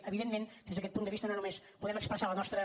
evidentment des d’aquest punt de vista no només podem expressar la nostra